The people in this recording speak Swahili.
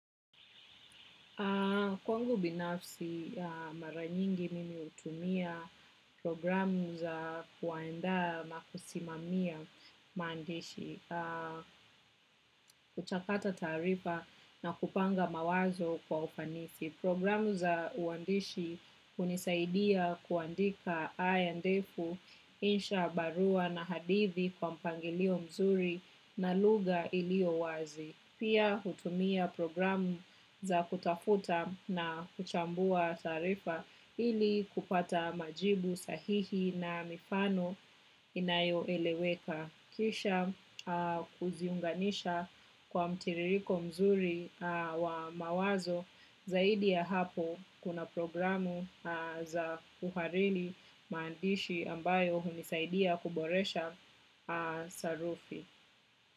Kwangu binafsi mara nyingi mimi hutumia programu za kuandaa na kusimamia maandishi, kuchakata taarifa na kupanga mawazo kwa ufanisi. Programu za uandishi hunisaidia kuandika haya ndefu, insha barua na hadithi kwa mpangilio mzuri na lugha iliyo wazi. Pia hutumia programu za kutafuta na kuchambua taarifa ili kupata majibu sahihi na mifano inayo eleweka. Kisha kuziunganisha kwa mtiririko mzuri wa mawazo zaidi ya hapo kuna programu za uhariri maandishi ambayo hunisaidia kuboresha sarufi.